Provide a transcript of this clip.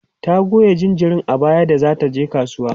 ta Goya jinjirin a baya da zata je kasuwa